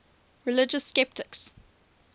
religious skeptics